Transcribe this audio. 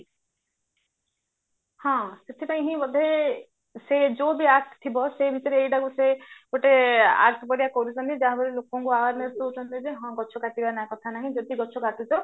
ହଁ ସେଥିପାଇଁ ହିଁ ବୋଧେ ସେ ଯୋଊ ବି act ଥିବ ସେମତିରେ ଏଇଟାକୁ ସେ ଗୋଟେ act ପରିକା କରୁଚନ୍ତି ଯାହା ଫଳରେ ଲୋକଙ୍କୁ awareness ଦଊଚନ୍ତି ଯେ ହଁ ଗଛ କାଟିବା ଯଦି ଗଛ କାଟୁଛ